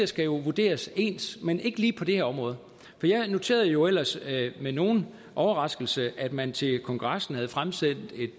skal vurderes ens men ikke lige på det her område jeg noterede jo ellers med nogen overraskelse at man til kongressen havde fremsendt